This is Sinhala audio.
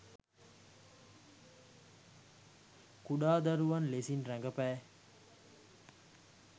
කුඩා දරුවන් ලෙසින් රඟපෑ